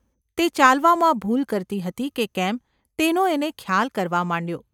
તે ચાલવામાં ભૂલ કરતી હતી કે કેમ તેનો એને ખ્યાલ કરવા માંડ્યો.